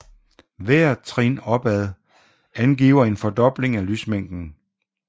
Hvert trin opad angiver en fordobling af lysmængden